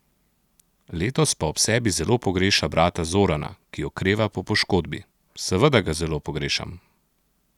Letos pa ob sebi zelo pogreša brata Zorana, ki okreva po poškodbi: "Seveda ga zelo pogrešam.